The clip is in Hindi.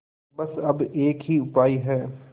बस अब एक ही उपाय है